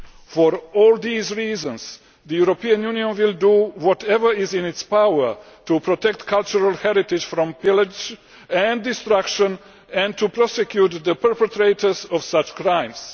For all these reasons, the European Union will do whatever is in its power to protect cultural heritage from pillage and destruction and to prosecute the perpetrators of such crimes.